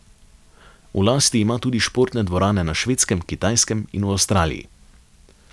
V lasti ima tudi športne dvorane na Švedskem, Kitajskem in v Avstraliji.